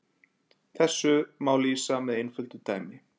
Þessu má lýsa með einföldu dæmi.